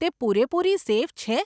તે પૂરેપૂરી સેફ છે?